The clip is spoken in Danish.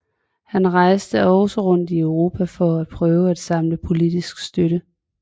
Han rejste også rundt i Europa for at prøve at samle politisk støtte